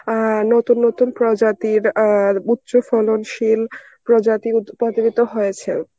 অ্যাঁ নতুন নতুন প্রজাতির আর উচ্চ ফলনশীল প্রজাতির উদ্ভাবিত হয়েছে.